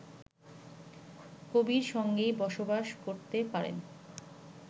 কবির সঙ্গেই বসবাস করতে পারেন